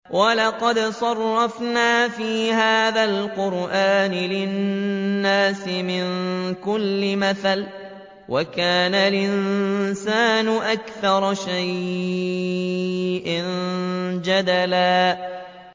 وَلَقَدْ صَرَّفْنَا فِي هَٰذَا الْقُرْآنِ لِلنَّاسِ مِن كُلِّ مَثَلٍ ۚ وَكَانَ الْإِنسَانُ أَكْثَرَ شَيْءٍ جَدَلًا